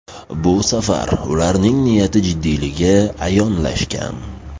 Bu safar ularning niyati jiddiyligi ayonlashgan.